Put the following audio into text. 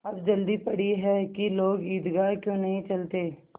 अब जल्दी पड़ी है कि लोग ईदगाह क्यों नहीं चलते